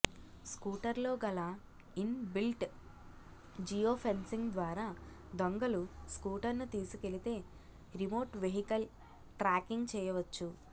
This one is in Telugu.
స్కూటర్లోగల ఇన్ బిల్ట్ జియో ఫెన్సింగ్ ద్వారా దొంగలు స్కూటర్ను తీసుకెళితే రిమోట్ వెహికల్ ట్రాకింగ్ చేయవచ్చు